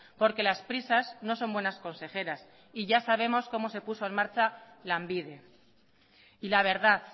porque las prisas no son buenas consejeras y ya sabemos cómo se puso en marcha lanbide y la verdad